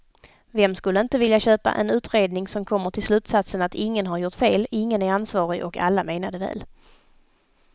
Vem skulle inte vilja köpa en utredning som kommer till slutsatsen att ingen har gjort fel, ingen är ansvarig och alla menade väl.